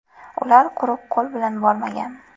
Ular quruq qo‘l bilan bormagan.